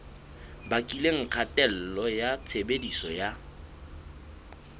bakileng kgatello ya tshebediso ya